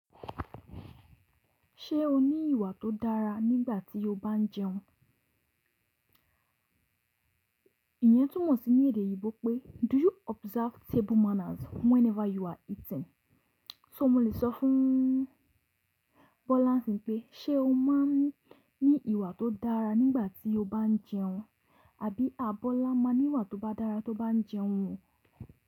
Ṣé o ní ìwà tó dára nígbà tí o bá ń jẹun? Iyẹn túmọ̀ sí ní èdè eyinbò pé “Do you observe table manners whenever you are eating?” So mo lè sọ fún Bola n sin pé “Ṣé o máa ń ní ìwà tó dára nígbà tí o bá ń jẹun?” àbí “A bọ́lá ma ní ìwà tó ba dára tó bá ń jẹun o.